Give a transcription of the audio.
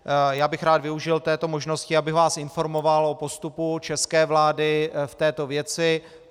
Já bych rád využil této možnosti, abych vás informoval o postupu České vlády v této věci.